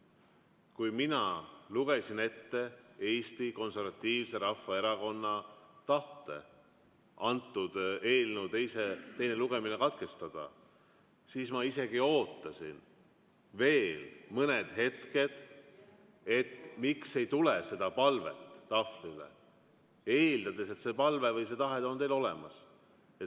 Kui mina lugesin ette Eesti Konservatiivse Rahvaerakonna tahte eelnõu teine lugemine katkestada, siis ma isegi ootasin veel mõned hetked, et miks ei tule seda palvet tahvlile, eeldades, et see palve või see tahe on teil olemas.